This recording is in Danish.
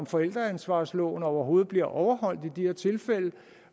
forældreansvarsloven overhovedet bliver overholdt i de her tilfælde